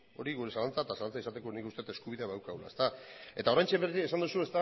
hori gure zalantza eta zalantza izateko nik uste dut eskubidea badaukagula eta oraintxe berriz ere esan duzu